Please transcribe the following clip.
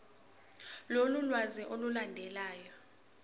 lolu lwazi olulandelayo